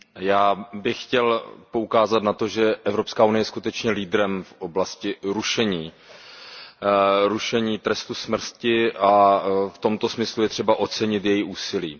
Já bych chtěl poukázat na to, že Evropská unie je skutečně lídrem v oblasti rušení trestu smrti a v tomto smyslu je třeba ocenit její úsilí.